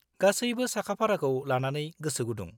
गासैबो साखा-फाराखौ लानानै गोसोगुदुं।